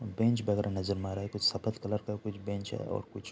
Bench बगर नज़र मारा है। कुछ सफ़द कलर का कुछ बेंच है और कुछ --